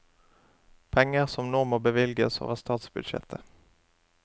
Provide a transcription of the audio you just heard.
Penger som nå må bevilges over statsbudsjettet.